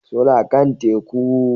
Suna kan Teku